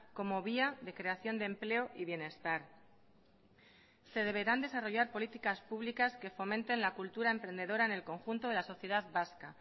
como vía de creación de empleo y bienestar se deberán desarrollar políticas públicas que fomenten la cultura emprendedora en el conjunto de la sociedad vasca